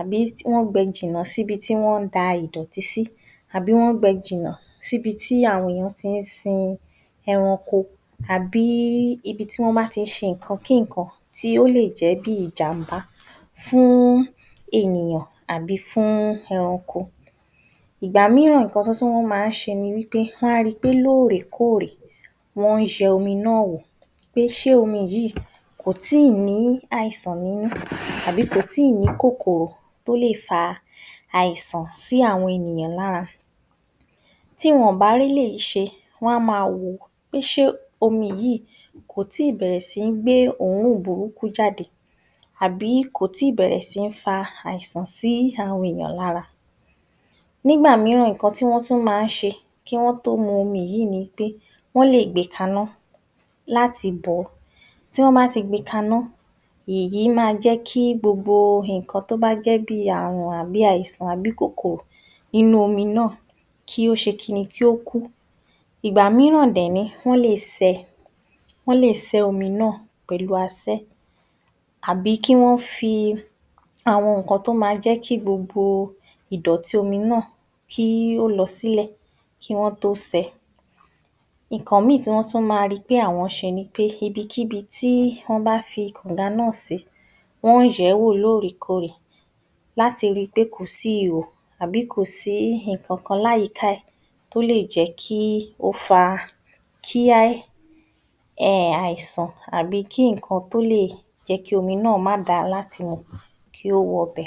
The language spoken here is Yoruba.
àbí tí wó̩n gbe̩ jìnnà síbi tí wó̩n da ìdò̩tí sí, àbí tí wó̩n gbe̩ jìnnà níbi tí àwo̩n ènìyàn ti ń sin e̩ranko, àbí ibi tí wó̩n bá ń ti ń s̩e nǹkan kí nǹkan tí ó lè jé̩ bí ìjàǹbá fún ènìyàn àbí fún e̩ranko. Ìgbà mìíràn nǹkan tí wó̩n tún máa ń s̩e ni wí pé wó̩n ri pé lóòrèkóòrè wó̩n ye̩ omi inú wò, pé s̩e omi yìí kò tíì ní àìsàn nínú àbí kò tíì ní kòkòrò tó lè fa àìsàn sí àwo̩n ènìyàn lára. Tí wo̩n ò bá réléyìí s̩e wo̩n á máa wò pé s̩é omi yìí kò tíì bè̩rè̩ sí ń gbé òórùn burúkú jáde àbí kò tíì bè̩rè̩ sí ní fa àìsàn sí àwo̩n ènìyàn lára. Nígbà mìíràn nǹkan tí wó̩n tún máa ń s̩e kí wó̩n tó mu omi yìí ni pé wó̩n lè gbe kaná láti bò̩, tí wó̩n bá ti gbe kaná èyí máa jé̩ kí gbogbo nǹkan tó bá jé̩ bí i ààrùn bí i àìsàn tàbí kòkòrò nínú omi náà, kí ó s̩e kí ni? Kí ó kú. Ìgbà mìíràn dè̩ ní wó̩n lè sé̩ wó̩n lè sé̩ omi náà pè̩lú asé̩ àbí kí wó̩n fi àwo̩n nǹkan tó máa jé̩ kí gbogbo ìdò̩tí omi náà kí ó lo̩ sílè̩ kí wó̩n tó se̩. Nǹkan mìíì tí wó̩n tún máa ri pé àwo̩n s̩e ni pé, ibikíbi tí wó̩n bá fi kànǹga náà sí wó̩n ń yè̩ é̩ wò lóòrèkóòrè láti ri pé kò sí ihò àbí kò sí nǹkankan láyìíká è̩ tó lè jé̩ kí ó fa kí um àìsàn tàbí tí nǹkan tó lè jé̩ kí omi náà má dáa láti mu kí ó wo̩ ’bè̩.